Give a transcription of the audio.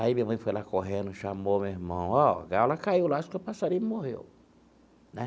Aí minha mãe foi lá correndo, chamou meu irmão, ó, a gaiola caiu lá, acho que o passarinho morreu, né?